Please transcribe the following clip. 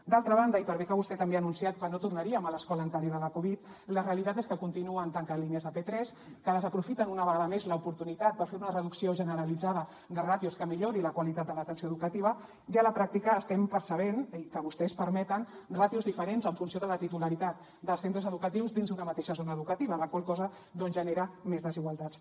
d’altra banda i per bé que vostè també ha anunciat que no tornaríem a l’escola anterior a la covid la realitat és que continuen tancant línies de p3 que desaprofiten una vegada més l’oportunitat per fer una reducció generalitzada de ràtios que millori la qualitat de l’atenció educativa i a la pràctica estem percebent i que vostès permeten ràtios diferents en funció de la titularitat dels centres educatius dins d’una mateixa zona educativa la qual cosa doncs genera més desigualtats